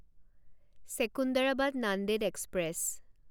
Secunderabad Nanded express